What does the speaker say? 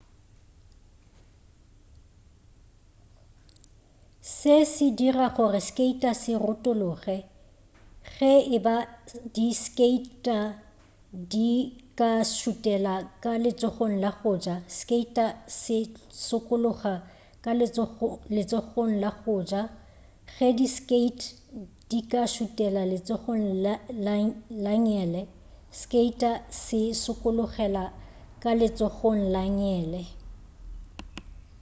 se se dira gore skater se retologe ge eba di skate di ka šutela ka letsogong la go ja skater se sokologela ka letsogong la go ja ge di skate di ka šutela ka letsogong la ngele skater se sokologela ka letsogong la ngele